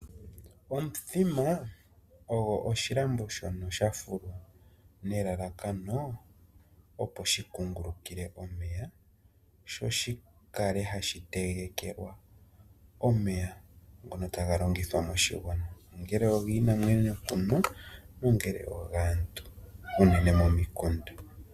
Omuthima ogo oshilambo shoka shafulwa nelalakano lyo kukungulukila omeya ngoka ta ga longithwa moshigwana. Kiinamwenyo nenge kaantu